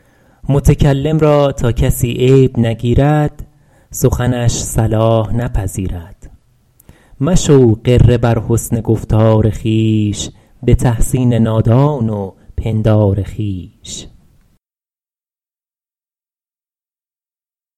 متکلم را تا کسی عیب نگیرد سخنش صلاح نپذیرد مشو غره بر حسن گفتار خویش به تحسین نادان و پندار خویش